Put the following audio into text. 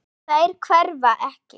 Þær hverfa ekki.